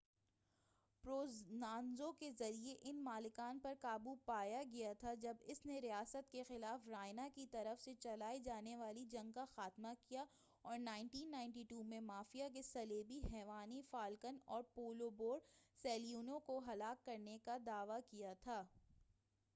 Provenzano کے ذریعہ ان مالکان پر قابو پایا گیا تھا جب اس نے ریاست کے خلاف رائنا کی طرف سے چلائے جانے والی جنگ کا خاتمہ کیا اور 1992 میں مافیا کے صلیبی جیوانی فالکن اور پاولو بورسیلینو کو ہلاک کرنے دعوی کیا تھا